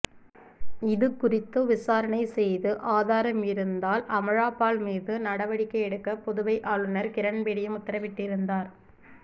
இதுகுறித்து விசாரணை செய்து ஆதாரம் இருந்தால் அமலாபால் மீது நடவடிக்கை எடுக்க புதுவை ஆளுனர் கிரண்பேடியும் உத்தரவிட்டிருந்தார்